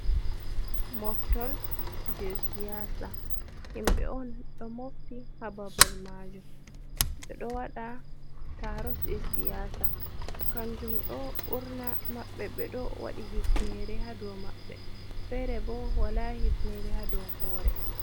Moftorde siyasa himɓe on ɗo mofti ha babal majum ɓe ɗo wada taro jesiyasa, kanjum ɗo ɓurna maɓɓe ɓe ɗo waɗi hifnere ha ɗo mabbe, fere bo wala hifnere ha dow hore.